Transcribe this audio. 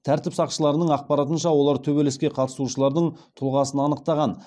тәртіп сақшыларының ақпаратынша олар төбелеске қатысушылардың тұлғасын анықтаған